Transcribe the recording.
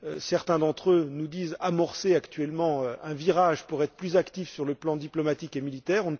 Certains d'entre eux nous disent amorcer actuellement un virage pour être plus actifs sur le plan diplomatique et militaire.